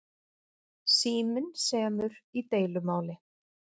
Síminn semur í deilumáli